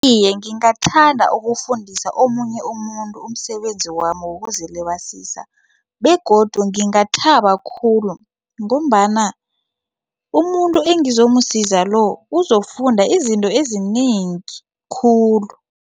Iye, ngingathanda ukufundisa omunye umuntu umsebenzi wami wokuzilibazisa begodu ngingathaba khulu ngombana umuntu engizomusiza lo uzokufunda izinto ezinengi khulu.